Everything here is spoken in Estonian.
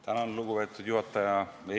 Tänan, lugupeetud juhataja!